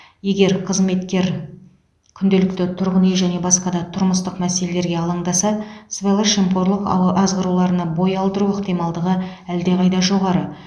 егер қызметкер күнделікті тұрғын үй және басқа да тұрмыстық мәселелерге алаңдаса сыбайлас жемқорлық азғыруларына бой алдыру ықтималдығы әлдеқайда жоғары